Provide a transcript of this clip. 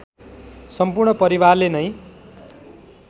सम्पूर्ण परिवारले नै